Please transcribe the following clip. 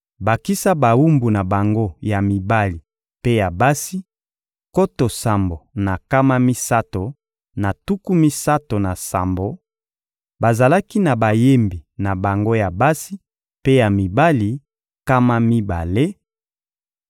bakisa bawumbu na bango ya mibali mpe ya basi, nkoto sambo na nkama misato na tuku misato na sambo; bazalaki na bayembi na bango ya basi mpe ya mibali, nkama mibale;